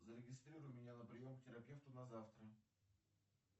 зарегистрируй меня на прием к терапевту на завтра